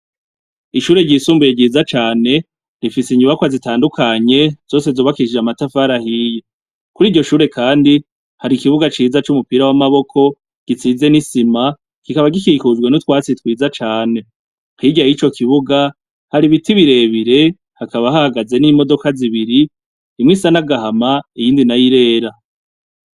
Ishure ryisumbuye ryiza cane rifise inyubakwa zitandukanye zose zubakishije amatafari ahiye. Kuri iryo shure kandi hari ikibuga ciza c'umupira w'amaboko gisize n'isima kikaba gikikujwe n'utwatsi twiza cane. Hirya y'ico kibuga hari ibiti birebire hakaba hahagaze n'imodoka zibiri, imwe isa n'agahama iyindi na yo irera.